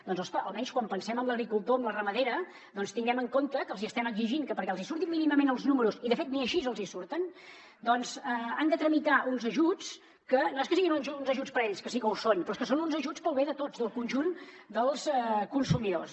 doncs ospa almenys quan pensem en l’agricultor en la ramadera tinguem en compte que els hi estem exigint que perquè els hi surtin mínimament els números i de fet ni així els hi surten han de tramitar uns ajuts que no és que siguin uns ajuts per a ells que sí que ho són però és que són uns ajuts per al bé de tots del conjunt dels consumidors